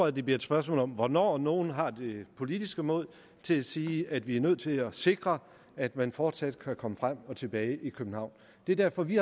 at det bliver et spørgsmål om hvornår nogle har det politiske mod til at sige at vi er nødt til at sikre at man fortsat kan komme frem og tilbage i københavn det er derfor at vi